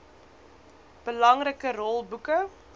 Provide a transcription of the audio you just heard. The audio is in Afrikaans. belangrike rol boeke